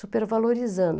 Supervalorizando.